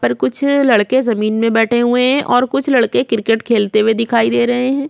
ऊपर कुछ लड़के जमीन में बैठे हुहे है और कुछ लड़के क्रिकेट खेलते हुए दिखाई दे रहे है।